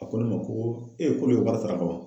A ko ne ma ko k'olu ye wari sara ka ban.